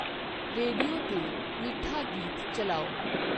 radio 'ਤੇ ਮਿੱਠਾ ਗੀਤ ਚੱਲਾਓ